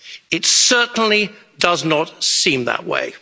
UK? It certainly does not seem that way.